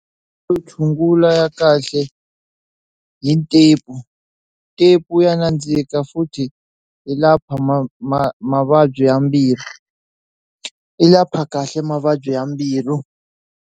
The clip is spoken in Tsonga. To tshungula ya kahle hi ntepu, ntepu wu ya nandzika futhi yi lapha ma ma mavabyi ya mbilu yi lapha kahle mavabyi ya mbilu.